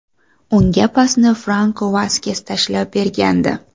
Unga pasni Franko Vaskes tashlab bergandi.